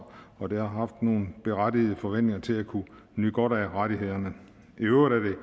og de har haft nogle berettigede forventninger til at kunne nyde godt af rettighederne i øvrigt